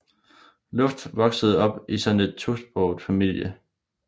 Luft voksede op i sådan en tosproget familie